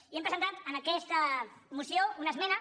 i hem presentat en aquesta moció una esmena